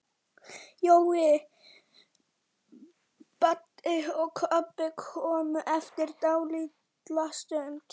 Jói, Baddi og Kobbi komu eftir dálitla stund.